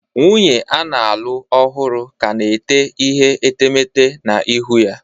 Nwunye a na-alụ ọhụrụ ka na-ete ihe etemeete na ihu ya